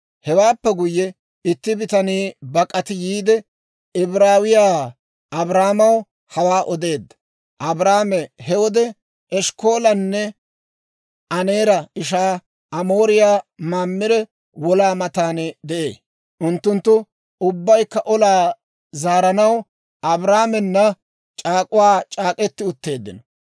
Hewaappe guyye, itti bitanii bak'ati yiide Ibraawiyaa Abraamaw hawaa odeedda. Abraame he wode, Eshkkolanne Aneera ishaa Amooriyaa Mamire wolaa matan de'ee. Unttunttu ubbaykka olaa zaaranaw Abraamena c'aak'k'uwaa c'aak'k'eti utteeddino.